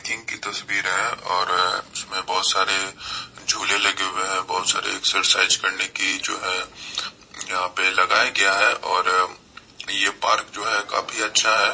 --दिन की तस्वीरे है और इसमें बहुत सारे झूले लगे हुए हैं बहुत-सारे एक्सरसाइज करने की जो है यहां पे लगाया गया है और ये पार्क जो है काफी अच्छा है।